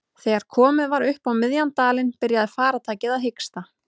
Þegar komið var upp á miðjan dalinn byrjaði farartækið að hiksta.